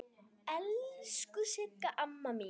Elsku Sigga amma mín.